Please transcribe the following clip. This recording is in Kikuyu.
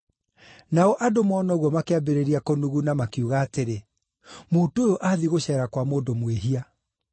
Nao andũ moona ũguo makĩambĩrĩria kũnuguna, makiuga atĩrĩ, “Mũndũ ũyũ aathiĩ gũceera kwa mũndũ mwĩhia.”